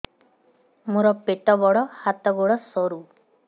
ମୋର ପେଟ ବଡ ହାତ ଗୋଡ ସରୁ